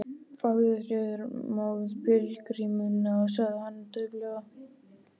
Farðu þá með pílagrímunum sagði hann dauflega.